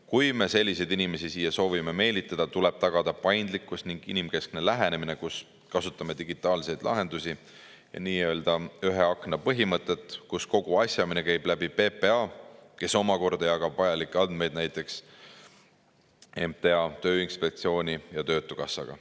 Kui me selliseid inimesi siia soovime meelitada, tuleb tagada paindlikkus ning inimkeskne lähenemine, mille puhul kasutame digitaalseid lahendusi ja nii-öelda ühe akna põhimõtet, kus kogu asjaajamine käib läbi PPA, kes omakorda jagab vajalikke andmeid näiteks MTA, Tööinspektsiooni ja töötukassaga.